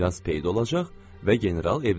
Miras peyda olacaq və general evlənəcək.